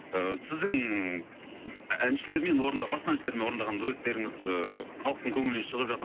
ыыы сіздің әншілермен басқа әншілермен орындаға дуэттеріңіз ыыы халықтың көңілінен шағып